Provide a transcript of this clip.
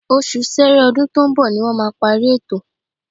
Oṣù Sẹẹrẹ ọdún tó ń bọ̀ ni wọ́n máa parí ètò